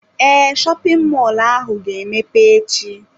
Ee, shopin mọlụ ahụ ga emepe echi.